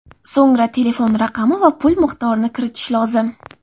So‘ngra telefon raqami va pul miqdorini kiritish lozim.